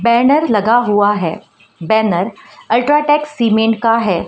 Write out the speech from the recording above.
Banner लगा हुआ है बैनर अल्ट्राटेक सीमेंट का है।